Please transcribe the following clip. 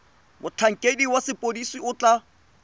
motlhankedi wa sepodisi o tla